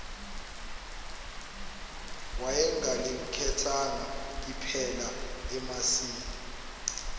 wayengalikhethanga iphela emasini